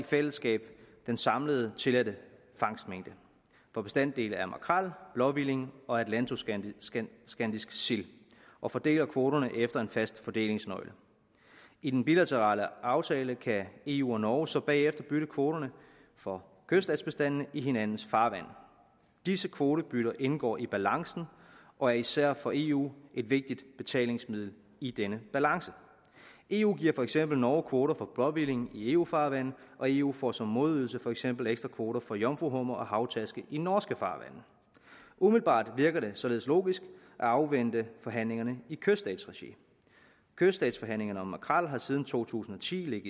i fællesskab den samlede tilladte fangstmængde for bestanddele af makrel blåhvilling og atlantoskandiske sild og fordeler kvoterne efter en fast fordelingsnøgle i den bilaterale aftale kan eu og norge så bagefter bytte kvoterne for kyststatsbestandene i hinandens farvande disse kvotebytter indgår i balancen og er især for eu et vigtigt betalingsmiddel i denne balance eu giver for eksempel norge kvoter for blåhvilling i eu farvande og eu får som modydelse for eksempel ekstra kvoter for jomfruhummer og havtaske i norske farvande umiddelbart virker det således logisk at afvente forhandlingerne i kysstatsregi kyststatsforhandlingerne om makrel har siden to tusind og ti